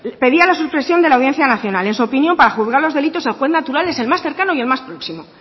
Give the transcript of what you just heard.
pedía la supresión de la audiencia nacional en su opinión para juzgar los delitos el juez natural es el más cercano y el más próximo